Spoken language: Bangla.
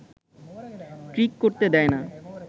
ট্রিক করতে দেয় না